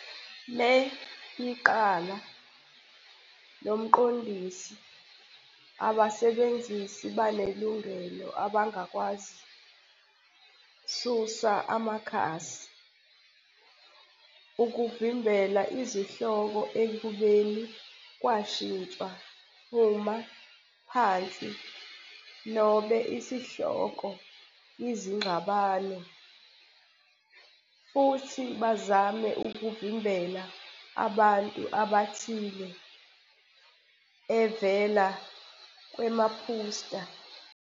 le iqala "nomqondisi", abasebenzisi anelungelo abangakwazi susa amakhasi, ukuvimbela izihloko ekubeni kwashintsha uma phansi nobe isihloko izingxabano, futhi bazame ukuvimbela abantu abathile evela kwemaphutsa.